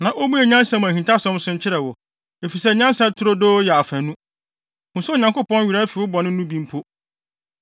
na ommue nyansa mu ahintasɛm so nkyerɛ wo, efisɛ nyansa turodoo yɛ afanu. Hu sɛ Onyankopɔn werɛ afi wo bɔne no bi mpo.